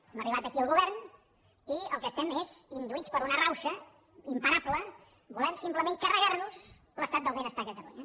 hem arribat aquí al govern i el que estem és induïts per una rauxa imparable volem simplement carregar nos l’estat del benestar a catalunya